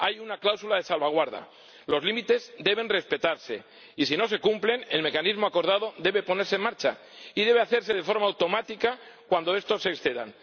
Hay una cláusula de salvaguardia, los límites deben respetarse y, si no se cumplen, el mecanismo acordado debe ponerse en marcha, y debe hacerse de forma automática cuando estos se excedan.